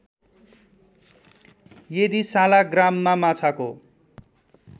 यदि सालाग्रामा माछाको